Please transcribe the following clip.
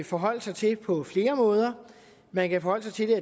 forholde sig til på flere måder man kan forholde sig til